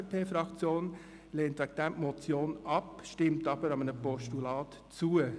Die FDP-Fraktion lehnt deshalb eine Motion ab, stimmt jedoch einem Postulat zu.